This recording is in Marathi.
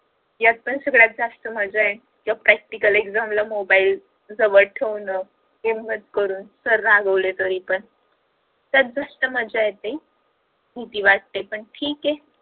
यात पण सगळ्यात जास्त मज्जा आहे practical exam ला मोबाइल जवळ ठेवून हिम्मत करून सर रागावले तरी पण त्यात सगळ्यात जास्त मज्जा येते भीती वाटते पण ठीक आहे